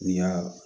Ya